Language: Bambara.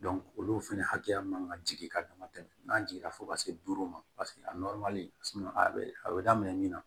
olu fɛnɛ hakɛya man ka jigin ka dama tɛmɛ n'a jiginna fo ka se duuru ma a a bɛ a bɛ daminɛ min na